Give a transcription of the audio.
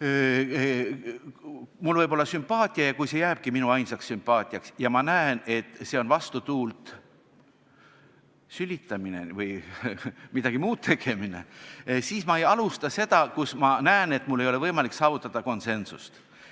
et mul on sümpaatia, aga see jääbki ainult minu sümpaatiaks ja ma näen, et see on vastutuult sülitamine või midagi muud tegemine, siis ma ei alusta seda, kui ma näen, et mul ei ole võimalik saavutada konsensust.